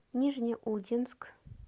нижнеудинск